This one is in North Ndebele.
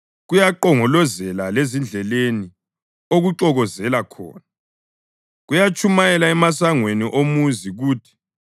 kuyanqongoloza lezindleleni okuxokozela khona, kuyatshumayela emasangweni omuzi kuthi: